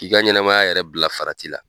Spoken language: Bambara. K'i ka ɲɛnamaya yɛrɛ bila farati la.